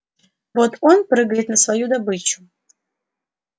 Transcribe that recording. вот он прыгает на свою добычу